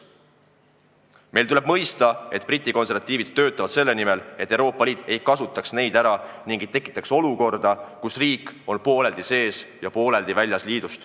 Meil tuleb mõista, et Briti konservatiivid töötavad selle nimel, et Euroopa Liit ei kasutaks neid ära ega tekitaks olukorda, kus riik on pooleldi liidus sees ja pooleldi sellest väljas.